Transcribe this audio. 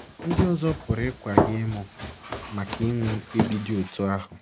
Ndị ọzọ pụrụ ịkwa gị emu maka inwe mkpebi dị otú ahụ.